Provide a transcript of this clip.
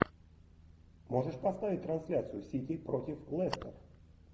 можешь поставить трансляцию сити против лестер